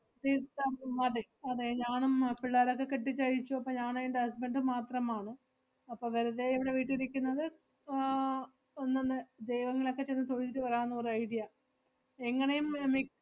തീർത്ഥാ~ ഉം അതെ അതെ ഞാനും അഹ് പിള്ളേരൊക്കെ കെട്ടിച്ചയച്ചു. അപ്പ ഞാനും എന്‍റെ husband ഉം മാത്രമാണ്. അപ്പ വെറുതെ ഇവടെ വീട്ടി ഇരിക്കുന്നത് ആഹ് ഒന്നൊന്നു ദൈവങ്ങളെക്കെ ചെന്ന് തൊഴുതിട്ട് വരാന്ന് ഒരു idea എങ്ങനെയും മി~ മി~